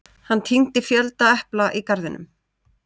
Hann tíndi fjölda epla í garðinum.